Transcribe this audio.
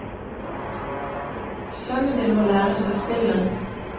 Sønnen din må lære seg spillet.